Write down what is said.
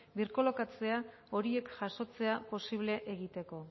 birkolokatzea horiek jasotzea posible egiteko